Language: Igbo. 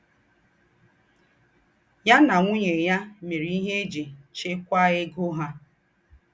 Yà nà ńwùnyè yà mèrè íhe íjì chékwàá égó hà.